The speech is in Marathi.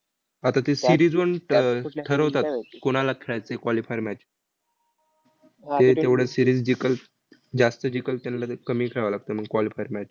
हा तर ते series वरून ठ ठरवतात कोणाला खेळायचं आहे qualifier match ते तेवढं series जिकंल, जास्त जिकंल, त्यांना ते कमी खेळावं लागतं मंग qualifier match